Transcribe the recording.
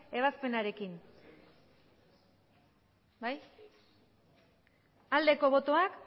ebazpenarekin bai aldeko botoak